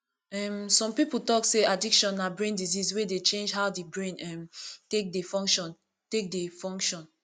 um some pipo talk sey addiction na brain disease wey dey change how di brain um take dey function take dey function